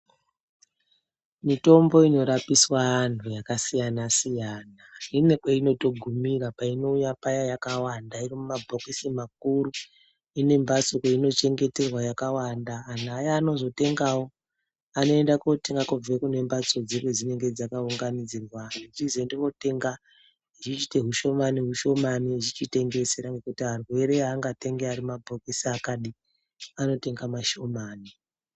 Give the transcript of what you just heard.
Mitombo inorapiswa anhu yakasiyanasiyana inekweinotogumira painouya paya yakawanda iri mumabhokisi makuru inembatso yainochengeterwa yakawanda anhu aya anozotengawo anoenda kotenga kubve kune mbatso dzinenge dzakaunganidzirwa eichizoende kotenga echiite ushoma neushomani echichitengesera ngekuti arwere angatengi arimabhokisi akadai anotenga mashomani.